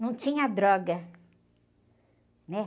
Não tinha droga, né?